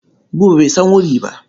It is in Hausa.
Buba bai san wuri ba.